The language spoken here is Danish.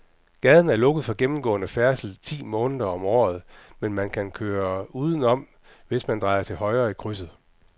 Gaden er lukket for gennemgående færdsel ti måneder om året, men man kan køre udenom, hvis man drejer til højre i krydset.